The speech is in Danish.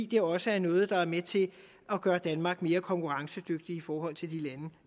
det er også noget der er med til at gøre danmark mere konkurrencedygtigt i forhold til de lande